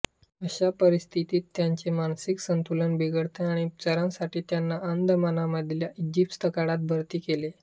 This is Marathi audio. अशा परिस्थितीत त्यांचे मानसिक संतुलन बिघडले आणि उपचारांसाठी त्यांना अंदमानमधल्या इस्पितळात भरती केले